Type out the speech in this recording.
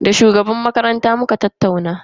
Da shugaban makaranta muka tattauna.